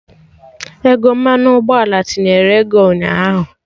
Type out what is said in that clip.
Ego mmanụ ụgbọala tinyere ego ụnyaahụ